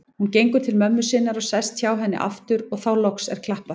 Hún gengur til mömmu sinnar og sest hjá henni aftur og þá loks er klappað.